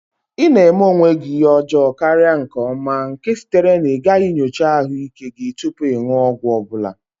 Ị na-eme onwe gị oke ihe ọjọọ karịa nke ọma, nke sitere na ịgaghị nyocha ahụike gị tupu ịṅụ ọgwụ ọ bụla.